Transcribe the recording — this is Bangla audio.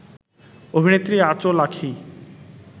অভিনেত্রী: আঁচল আঁখি